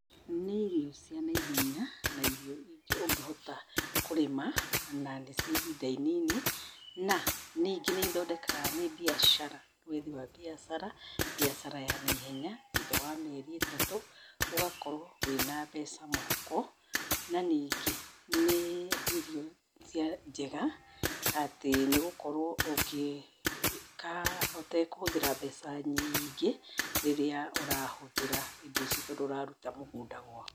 Nĩ irio cia naihenya na irio ũngĩhota kũrĩma na nĩ cia ihinda inini, na ningĩ nĩ ithondekaga mbiacara, wĩĩgi wa mbiacara, mbiacara ya naihenya thũtha wa mĩeri ĩtatũ ũgakorwo wĩna mbeca mũhũko, na ningĩ nĩ irio njega atĩ nĩ gũkorwo ungĩ ikara ũtakũhũthĩra mbeca nyingĩ, rĩrĩa ũrahũthĩra indo ici tondũ ũraruta mũgunda gwaku.